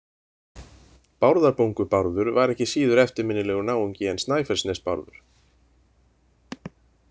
Bárðarbungu-Bárður var ekki síður eftirminnilegur náungi en Snæfellsnes-Bárður.